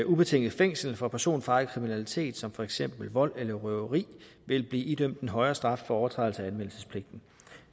ubetinget fængsel for personfarlig kriminalitet som for eksempel vold eller røveri vil blive idømt en højere straf for overtrædelse af anmeldelsespligten